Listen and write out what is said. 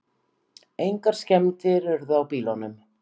Engar skemmdir urðu á bílunum